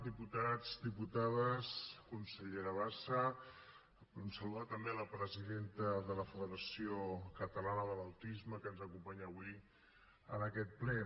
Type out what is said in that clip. diputats diputades consellera bassa volem saludar també la presidenta de la federació catalana de l’autisme que ens acompanya avui en aquest ple